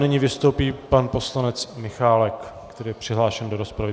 Nyní vystoupí pan poslanec Michálek, který je přihlášený do rozpravy.